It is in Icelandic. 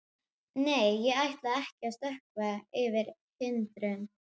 Nei, ég ætla að stökkva yfir hindrun.